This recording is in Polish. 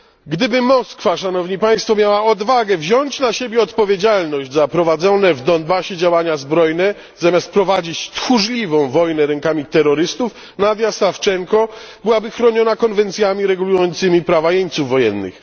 Gdyby Moskwa, Szanowni Państwo, miała odwagę wziąć na siebie odpowiedzialność za prowadzone w Donbasie działania zbrojne, zamiast prowadzić tchórzliwą wojnę rękami terrorystów, Nadia Sawczenko byłaby chroniona konwencjami regulującymi prawa jeńców wojennych.